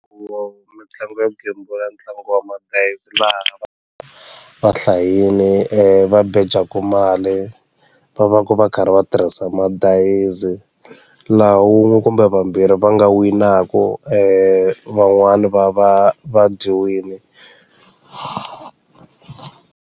Ku mitlangu yo gembula ntlangu wa madayizi laha va hlayini va beja mali va va va ku va karhi va tirhisa madayizi laha wun'we kumbe vambirhi va nga winaka van'wani va va va dyiwile.